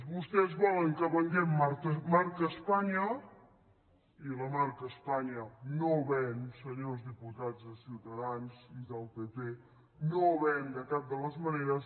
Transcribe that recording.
vostès volen que venguem marca espanya i la marca espanya no ven senyors diputats de ciutadans i del pp no ven de cap de les maneres